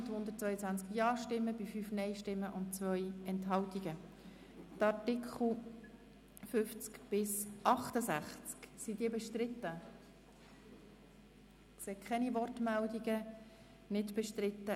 Sie haben der Gesetzesänderung in der Schlussabstimmung mit 188 Ja- gegen 2 Nein-Stimmen bei 6 Enthaltungen zugestimmt.